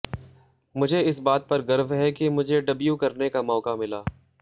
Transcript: मुझे इस बात पर गर्व है कि मुझे डेब्यू करने का मौका मिला